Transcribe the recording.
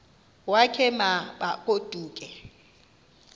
wakhe ma baoduke